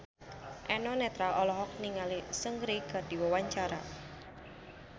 Eno Netral olohok ningali Seungri keur diwawancara